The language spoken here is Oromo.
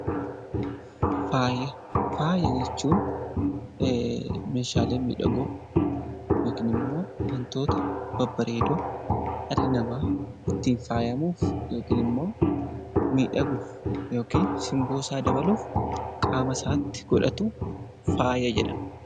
Faaya jechuun meeshaalee miidhagoo yookiin immoo wantoota babbareedoo dhalli namaa ittiin faayamuuf yookaan immoo miidhaguuf qaama isaatti godhatu faaya jedhama